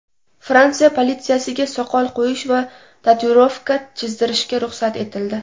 Fransiya politsiyasiga soqol qo‘yish va tatuirovka chizdirishga ruxsat etildi.